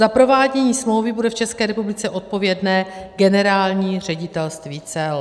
Za provádění smlouvy bude v České republice odpovědné Generální ředitelství cel.